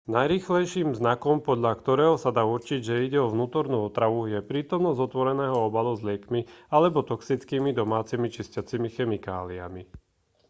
najrýchlejším znakom podľa ktorého sa dá určiť že ide o vnútornú otravu je prítomnosť otvoreného obalu s liekmi alebo toxickými domácimi čistiacimi chemikáliami